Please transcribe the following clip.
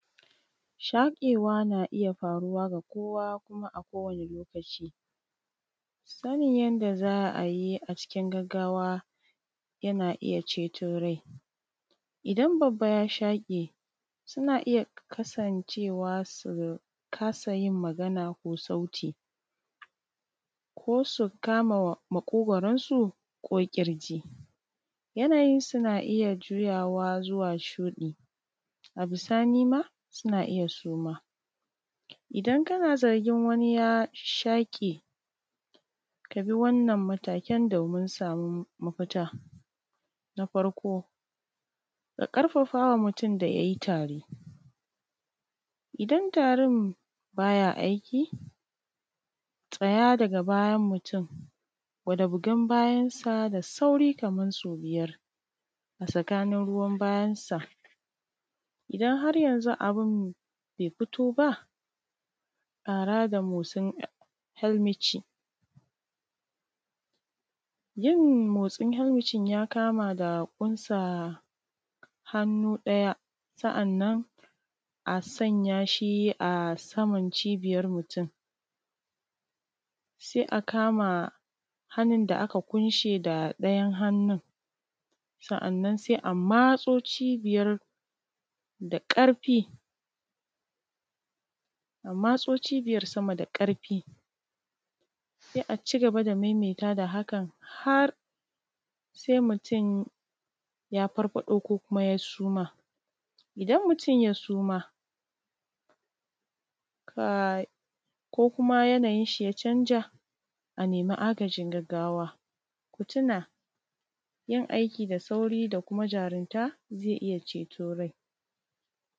Shaƙewa na iya faruwa da kowa kuma a kowane lokaci sanin yadda za a yi a cikin gaggawa na iya ceto rai, idan babba ya shaƙe suna iya kasanceewa su kasa yin magana ko sauti ko su kama maƙogwaransu ko ƙirji, yanayin suna iya juya wa zuwa shuɗi a bisa nisa suna iya suma idan kana zargin wani ya shaƙe ka bi wannan matakan don ka samu mafita. Na farko ka ƙarfawa mutum idan yayi tari idan tarin baya aiki tsaya daga bayan mutum gwada bugan bayansa da sauri kaman so biyar a tsakin ruwan bayansa, idan har yanzu abun be fito ba ƙara da motsin helmici yin motsin helmicin ya kama da ƙunsa hannu ɗaya sa’annana sanya shi a sama cibiyan mutum, se a kama hannun da aka ƙunshe da ɗayan hannun sa’annan se a matso cibiyar da ƙarfi, amma to cibiyar sama da ƙarfi se a ci gaba da maimaita da hakan har se mutum ya farfaɗo ko kuma ya suma. Idan mutum ya suma ka ko kuma yanayin shi ya canza a nemi agajin gaggawa ku tuna yin aiki da sauri da kuma jarumta ze iya cetan mutum.